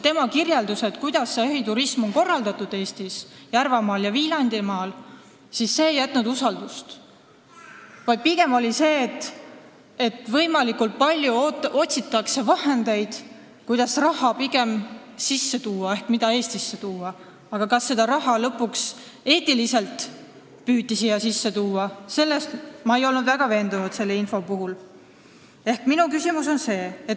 Tema kirjeldused, kuidas jahiturism on korraldatud Eestis, Järvamaal ja Viljandimaal, ei tekitanud usaldust, vaid pigem jäi mulje, et võimalikult palju otsitakse vahendeid, kuidas raha Eestisse tuua, aga kas seda püütakse teha eetiliselt, selles ma ei olnud selle info põhjal väga veendunud.